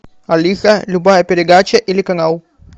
алиса любая передача или канал